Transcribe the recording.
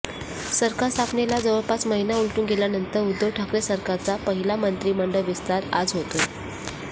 सरकार स्थापनेला जवळपास महिना उलटून गेल्यानंतर उद्धव ठाकरे सरकारचा पहिला मंत्रिमंडळ विस्तार आज होतोय